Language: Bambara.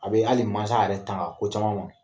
A be hali maasa yɛrɛ tanga ko caman ma.